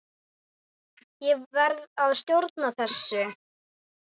Ég verð að stjórna þessu.